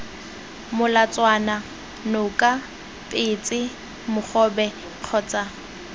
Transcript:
molatswana noka petse mogobe kgotsa